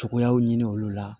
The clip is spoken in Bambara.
Cogoyaw ɲini olu la